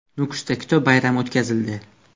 Nukusda kitob bayrami o‘tkazildi.